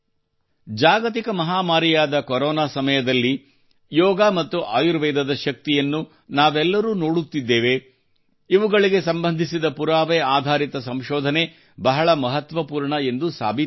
ಜಾಗತಿಕ ಮಹಾಮಾರಿಯಾದ ಕೊರೊನಾ ಸಮಯದಲ್ಲಿ ಯೋಗ ಮತ್ತು ಆಯುರ್ವೇದದ ಶಕ್ತಿಯನ್ನು ನಾವೆಲ್ಲರೂ ನೋಡುತ್ತಿದ್ದೇವೆ ಇವುಗಳಿಗೆ ಸಂಬಂಧಿಸಿದ ಪುರಾವೆ ಆಧಾರಿತ ಸಂಶೋಧನೆ ಬಹಳ ಮಹತ್ವಪೂರ್ಣ ಎಂದು ಸಾಬೀತಾಗುತ್ತದೆ